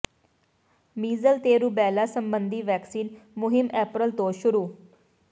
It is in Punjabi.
ਮੀਜ਼ਲ ਤੇ ਰੂਬੈਲਾ ਸਬੰਧੀ ਵੈਕਸੀਨ ਮੁਹਿੰਮ ਅਪ੍ਰੈਲ ਤੋਂ ਸ਼ੁਰੂ